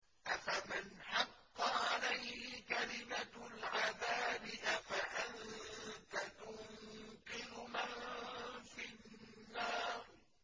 أَفَمَنْ حَقَّ عَلَيْهِ كَلِمَةُ الْعَذَابِ أَفَأَنتَ تُنقِذُ مَن فِي النَّارِ